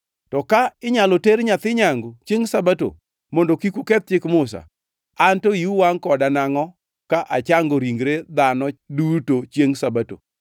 To ka inyalo ter nyathi nyangu chiengʼ Sabato, mondo kik uketh Chik Musa, anto iu wangʼ koda nangʼo ka achango ringre dhano duto chiengʼ Sabato?